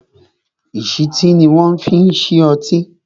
ìsítí ni wọn fi ń ṣí ọtí